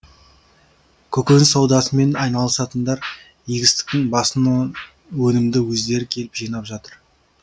көкөніс саудасымен айналысатындар егістіктің басының өнімді өздері келіп жинап жатыр